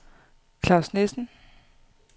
Claus Nissen